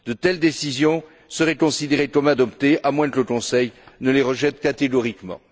De telles décisions seraient considérées comme adoptées à moins que le Conseil ne les rejette catégoriquement.